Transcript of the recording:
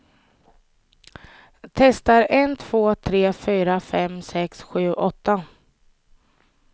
Testar en två tre fyra fem sex sju åtta.